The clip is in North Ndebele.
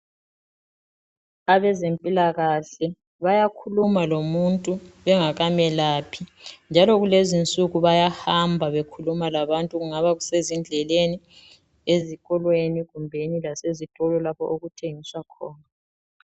Abezempilakahle bayakhuluma lomuntu bengakamelaphi njalo kulezinsuku bayahamba bekhuluma labantu ,kungabe kusezindleleni, ezikolweni kumbeni lasezitolo lapho okuthengiswa khona .